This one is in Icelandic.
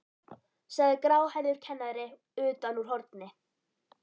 sagði gráhærður kennari utan úr horni.